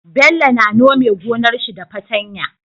Bello na nome gonar shi da fatan ya